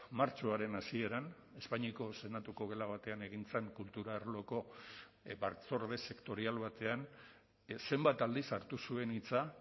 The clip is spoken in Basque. martxoaren hasieran espainiako senatuko gela batean egin zen kultura arloko batzorde sektorial batean zenbat aldiz hartu zuen hitza